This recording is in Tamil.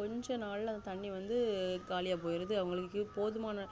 கொஞ்ச நால வந்து தண்ணி காலியாபோய்டுது அவங்களுக்கு போதுமான